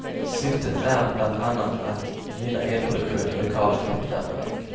Syftet är bland annat att gynna elproduktion i lokala kraftvärmeverk.